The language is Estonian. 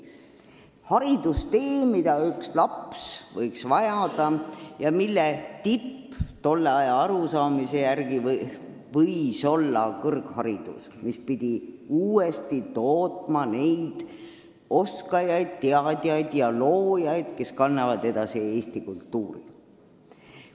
See oli haridustee, mida laps võis vajada ja mille tipp tolle aja arusaamise järgi võis olla kõrgharidus, mis pidi uuesti tootma neid oskajaid, teadjaid ja loojaid, kes kannavad edasi eesti kultuuri.